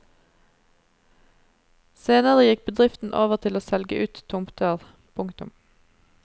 Senere gikk bedriften over til å selge ut tomter. punktum